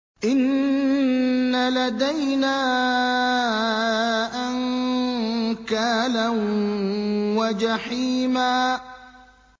إِنَّ لَدَيْنَا أَنكَالًا وَجَحِيمًا